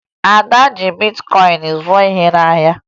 Ada ji bitkọyịn zụọ ihe n'ahịa